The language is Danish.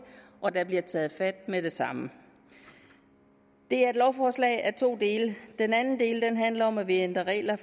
og at der bliver taget fat med det samme det er et lovforslag i to dele den anden del handler om at vi ændrer regler